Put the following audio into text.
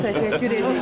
Çox təşəkkür edirik.